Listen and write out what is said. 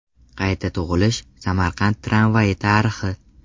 Qayta tug‘ilish: Samarqand tramvayi tarixi.